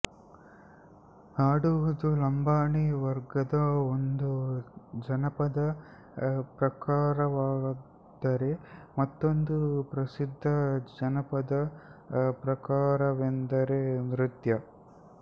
ಹಾಡುವುದು ಲಂಬಾಣಿ ವರ್ಗದ ಒಂದು ಜನಪದಪ್ರಕಾರವಾದರೆ ಮತ್ತೊಂದು ಪ್ರಸಿದ್ಧ ಜನಪದ ಪ್ರಕಾರವೆಂದರೆ ನೃತ್ಯ